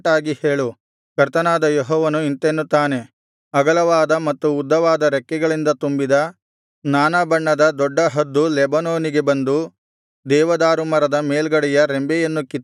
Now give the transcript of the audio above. ಕರ್ತನಾದ ಯೆಹೋವನು ಇಂತೆನ್ನುತ್ತಾನೆ ಅಗಲವಾದ ಮತ್ತು ಉದ್ದವಾದ ರೆಕ್ಕೆಗಳಿಂದ ತುಂಬಿದ ನಾನಾ ಬಣ್ಣದ ದೊಡ್ಡ ಹದ್ದು ಲೆಬನೋನಿಗೆ ಬಂದು ದೇವದಾರು ಮರದ ಮೇಲ್ಗಡೆಯ ರೆಂಬೆಯನ್ನು ಕಿತ್ತು ಹಾಕಿತು